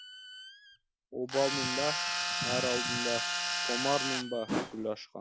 обалмын ба ар алдында томармын ба гүл ашқан